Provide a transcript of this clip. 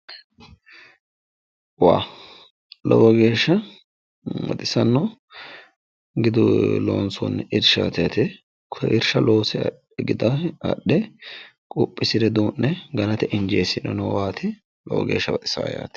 lowo geeshsha baxissanno gidu loonsoonni irshaati yaate irsha loose wixa adhe quphisire duu'ne injeesirinowaati lowo geeshsh baxisaa yaate.